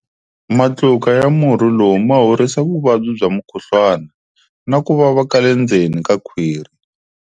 Matluka ya murhi lowu ma horisa vuvabyi bya mukhuhlwana na ku vava ka le ndzeni ka khwiri.